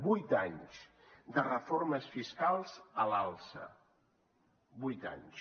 vuit anys de reformes fiscals a l’alça vuit anys